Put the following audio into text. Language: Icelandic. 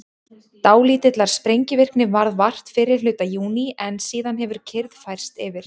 dálítillar sprengivirkni varð vart fyrri hluta júní en síðan hefur kyrrð færst yfir